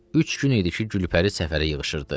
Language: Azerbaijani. Üç gün idi ki, Gülpəri səfərə yığışırdı.